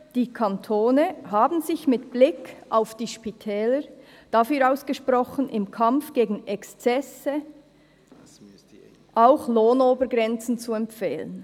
«Die Kantone haben sich mit Blick auf die Spitäler dafür ausgesprochen, im Kampf gegen Exzesse auch Lohnobergrenzen zu empfehlen.